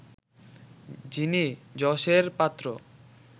যিনি যশের পাত্র